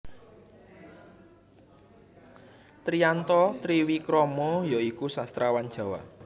Triyanto Triwikromo ya iku sastrawan Jawa